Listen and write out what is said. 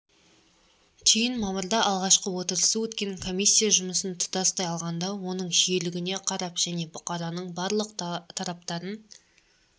түйін мамырда алғашқы отырысы өткен комиссия жұмысын тұтастай алғанда оның жүйелілігіне қарап және бұқараның барлық тараптарын